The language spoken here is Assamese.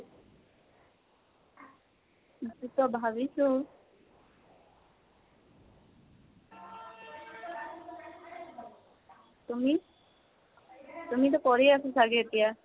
সিটো টো ভাবিছো। তুমি? তুমিটো কৰি আছে চাগে এতিয়া?